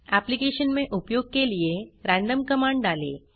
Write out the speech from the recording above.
application में उपयोग के लिए रैंडम कमांड डालें